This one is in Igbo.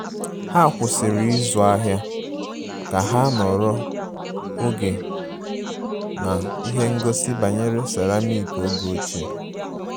Ha kwụsịrị ịzụ ahịa ka ha nọrọ oge na ihe ngosi banyere ceramik oge ochie